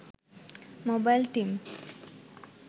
mobile team